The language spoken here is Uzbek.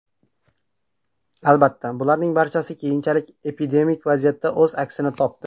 Albatta, bularning barchasi keyinchalik epidemik vaziyatda o‘z aksini topdi.